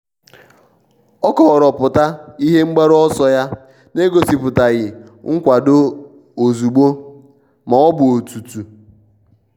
o kọrọpụta ihe mgbaru ọsọ ya n'egosipụtaghi nkwado ozugbo ma ọ bụ otutu.